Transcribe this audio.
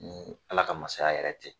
Ni Ala ka masaya yɛrɛ tɛ